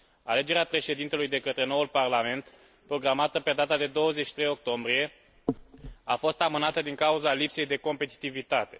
Alegerea președintelui de către noul Parlament, programată pe data de 23 octombrie, a fost amânată din cauza lipsei de competitivitate.